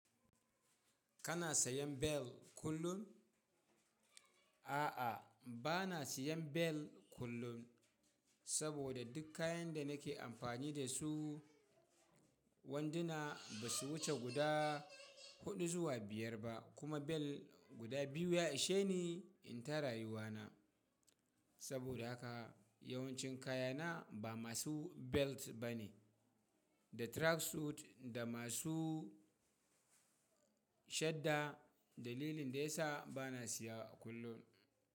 Kana sayan bel kullum? A'a, ba na sayan bel kullum, saboda duk kayan da nake amfani da su wanduna ba su wuce guda huɗu zuwa biyar ba. Kuma bel guda biyu ya ishe ni in ta rayuwana. Saboda haka yawancin kayana ba masu belt ba ne, da track suit da masu shadda. Dalilin da ya sa ba na siya kullum.